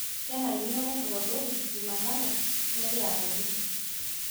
kenarikino naishop olgotii jumatano nagira alotu